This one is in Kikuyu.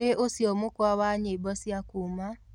Nĩ ũcĩo mũkwa wa nyĩmbo cĩa küũma